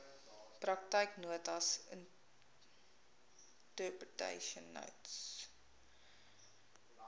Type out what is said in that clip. praktyknotas interpretation notes